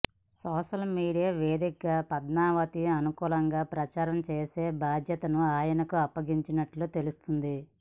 social media వేదికగా పద్మావతికి అనుకూలంగా ప్రచారం చేసే బాధ్యతను ఆయనకు అప్పగించినట్లు తెలుస్తోంది